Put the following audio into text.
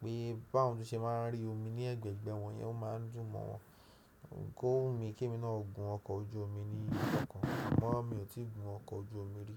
pé bá won ṣe máa ń rí omi ní ẹgbẹ̀ẹgbẹ̀ wọn yẹn ó máa ń dùn mọ́ wọ́n. Kó wumi kí èmi náà gun ọkọ̀ ojú omi ní ọjọ́ kan àmọ́ mi ò tí ì gun ọkọ̀ ojú omi rí.